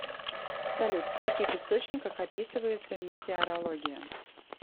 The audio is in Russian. салют в каких источниках описывается метеорология